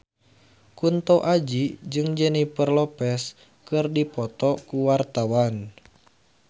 Kunto Aji jeung Jennifer Lopez keur dipoto ku wartawan